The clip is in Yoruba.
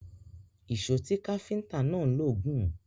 Ìṣọ tí káfíntà náà ń lò gùn.